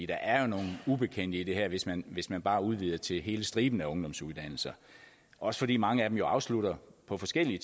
der er jo nogle ubekendte i det her hvis man hvis man bare udvider det til hele striben af ungdomsuddannelser også fordi mange af dem afslutter på forskellige